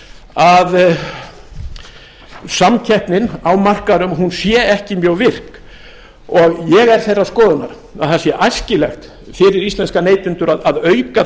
að samkeppnin á markaðnum sé ekki mjög virk ég er þeirrar skoðunar að það sé æskilegt fyrir íslenska neytendur að auka